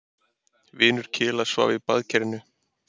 Vinur Kela svaf í baðkerinu.